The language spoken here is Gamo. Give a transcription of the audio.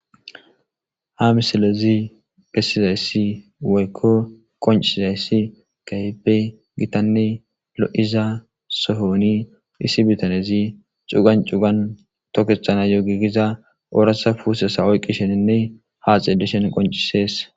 Ha misilezi pessizayssi woykko qoncizayssi gaype gitanne lo7iza sohoni isi bitanezi cugan cugan tokehana yo gigiza ooratha puusesa oyqqi sheninne haaxeedishen qoncisees.